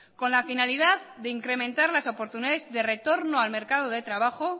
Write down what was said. con la finalidad de incrementar las oportunidades de retorno al mercado de trabajo